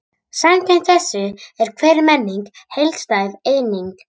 Samkvæmt þessu er hver menning heildstæð eining.